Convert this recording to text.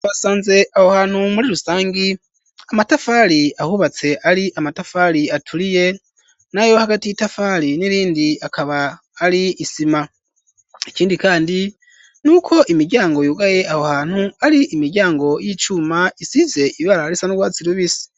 Basanze ahohantu muri rusangi amatafari ahubatse ari amatafari aturiye nawe hagati y'i tafari n'irindi akaba ari isima ikindi, kandi n'uko imiryango yugaye ahohantu ari imiryango y'icuma isize ibara risanurwasi rubise.